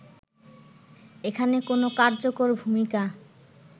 এখানে কোন কার্যকর ভূমিকা